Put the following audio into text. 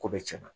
Ko bɛ cɛn